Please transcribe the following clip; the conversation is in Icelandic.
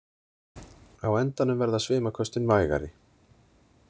Á endanum verða svimaköstin vægari.